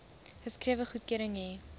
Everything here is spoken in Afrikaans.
geskrewe goedkeuring hê